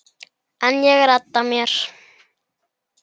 En ég redda mér.